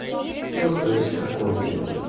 ну то есть такой типа